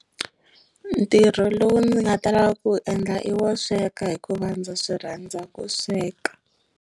Ntirho lowu ndzi nga ta lava ku endla i wo sweka hikuva ndza swi rhandza ku sweka.